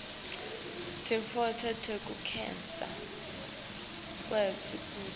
tintfo tekukhetsa kuto